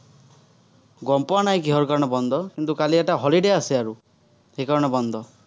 গম পোৱা নাই কিহৰ কাৰণে বন্ধ। কিন্তু, কালি এটা holiday আছে আৰু। সেইকাৰণে বন্ধ।